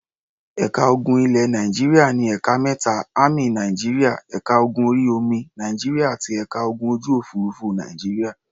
Ẹ̀ka ogun ilẹ̀ Nàìjíríà ní ẹ̀ka mẹ́ta; Ámì Nàìjíríà, ẹ̀ka ogun orí-omi Nàìjíríà àti ẹ̀ka ogun ojú-òfurufú Nàìjíríà.